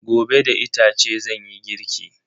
Gobe da itace zanyi girki.